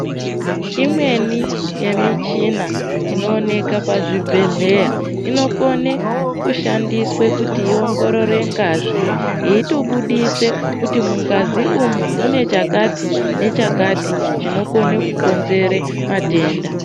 Imweni ye michina ino oneka pa zvibhedhleya ino kone kushandiswe kuti i ongorore ngazi yeito budise kuti mungazi umu mune chakati ne chakati chino kone ku konzere matenda.